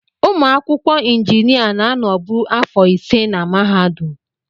Ụmụ akwụkwọ injinia na-anọbu afọ ise na mahadum.